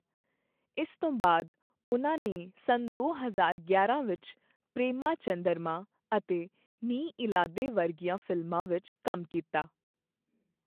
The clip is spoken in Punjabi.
ਇਸ ਤੋਂ ਬਾਅਦ ਉਹਨਾਂ ਨੇ ਸੰਨ ਦੋ ਹਜ਼ਾਰ ਗਿਆਰਾਂ ਵਿੱਚ 'ਪ੍ਰੇਮਾ ਚੰਦਰਮਾ' ਅਤੇ 'ਨੀ ਇਲਾਧੇ' ਵਰਗੀਆਂ ਫ਼ਿਲਮਾਂ ਵਿੱਚ ਕੰਮ ਕੀਤਾ।